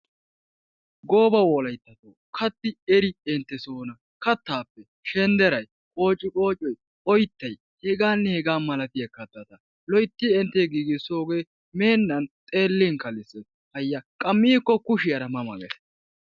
Goobba wolayttay kaatti eri enttes hoolla kattaappe shenderay, qoocciqoocoy, oyttay hegaanne hegaa malatiya kattata loytti entte giigissoogee meenan xeelin kalssees hayy, qa miikko kushiyara ma ma gees.